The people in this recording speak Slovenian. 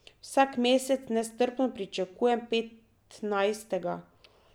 Vsak mesec nestrpno pričakujem petnajstega.